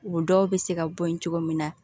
O dɔw bɛ se ka bɔ yen cogo min na